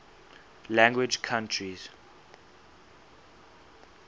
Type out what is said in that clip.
language countries